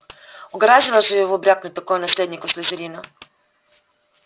угораздило же его брякнуть такое наследнику слизерина